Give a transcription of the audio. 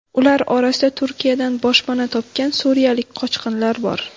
Ular orasida Turkiyadan boshpana topgan suriyalik qochqinlar bor.